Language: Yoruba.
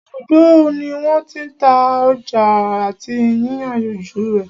Ibùdó ní wọ́n tí n já ọjà àti yíyànjú rẹ̀.